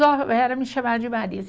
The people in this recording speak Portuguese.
Só era me chamar de Marisa.